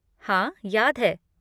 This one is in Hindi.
हाँ, याद है।